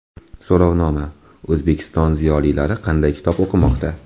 So‘rovnoma: O‘zbek ziyolilari qanday kitob o‘qimoqda?.